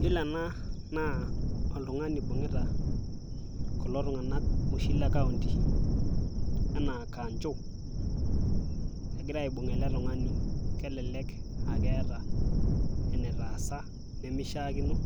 iyiolo ena naa oltungani ibung'ita kulo tung'anak oshi le county anaa kanjo. egira aibung' ele tung'ani, aa keeta ene taasa nemeishakino,